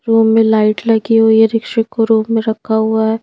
Room में light लगी हुई है रिक्क्षिक को रूम में रखा हुआ है।